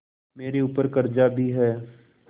मेरे ऊपर कर्जा भी है